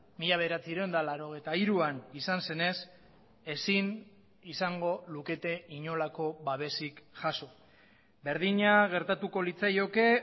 mila bederatziehun eta laurogeita hiruan izan zenez ezin izango lukete inolako babesik jaso berdina gertatuko litzaioke